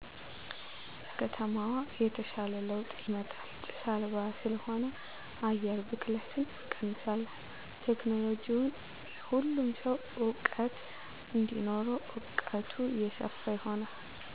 ለከተማዋ የተሻለ ለዉጥ ይመጣል ጭስ አልባ ስለሆነ አየር ብክለትን እንቀንሳለን ቴክኖለሎጅዉን ለሁሉም ሰዉ እዉቀት እንዲኖረዉ እዉቀቱ የሰፋ ይሆናል